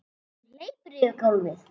Hún hleypur yfir gólfið.